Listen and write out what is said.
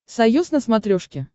союз на смотрешке